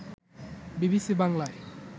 BBC বাংলায়